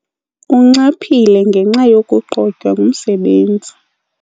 Unxaphile ngenxa yokuqotywa ngumsebenzi.